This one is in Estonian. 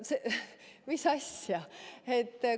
Mis asja?